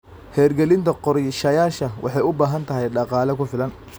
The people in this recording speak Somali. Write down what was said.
Hirgelinta qorshayaasha waxay u baahan tahay dhaqaale ku filan.